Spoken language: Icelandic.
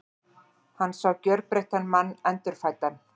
Hann sá gjörbreyttan mann, endurfæddan.